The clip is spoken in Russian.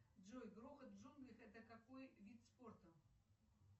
джой грохот в джунглях это какой вид спорта